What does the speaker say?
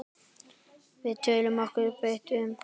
Við töldum okkur vita betur.